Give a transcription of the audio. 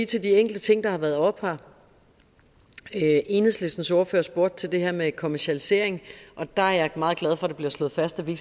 til de enkelte ting der har været oppe her enhedslistens ordfører spurgte til det her med kommercialisering og der er jeg meget glad for det bliver slået fast at vi